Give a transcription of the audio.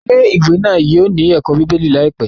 Ilé-ìwé náà yóò ní ẹ̀kọ́ bíbélì láìpẹ́.